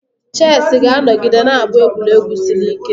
Chesị ga-anọgide na-abụ egwuregwu siri ike.